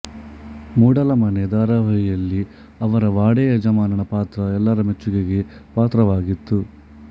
ಮೂಡಲ ಮನೆ ಧಾರಾವಾಹಿಯಲ್ಲಿ ಅವರ ವಾಡೆ ಯಜಮಾನನ ಪಾತ್ರ ಎಲ್ಲರ ಮೆಚ್ಚುಗೆಗೆ ಪಾತ್ರವಾಗಿತ್ತು